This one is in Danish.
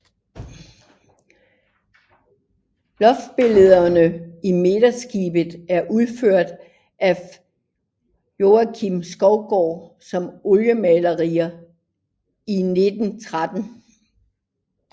Loftsbillederne i midterskibet er udført af Joakim Skovgaard som oliemaleri i 1913